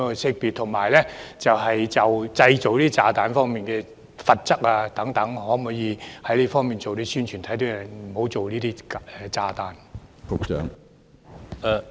此外，就製造炸彈方面的罰則等，可否做一些宣傳，警惕市民不要製造炸彈。